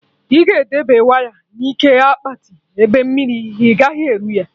I ga edebe waya na ike akpati, ebe mmiri agaghị eru ya